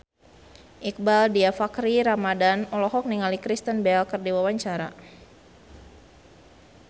Iqbaal Dhiafakhri Ramadhan olohok ningali Kristen Bell keur diwawancara